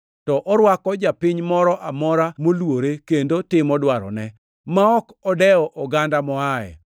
to orwako japiny moro amora moluore kendo timo dwarone, ma ok odewo oganda moaye!